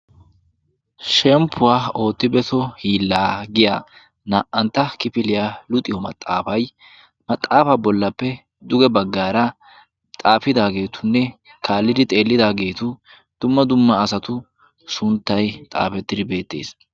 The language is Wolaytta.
shemppuwaa ootti beso hiillaa giya naa"antta kifiliyaa luxiyo maxaafay maxaafaa bollappe duge baggaara xaafidaageetunne kaallidi xeellidaageetu dumma dumma asatu sunttay xaafettidi beettees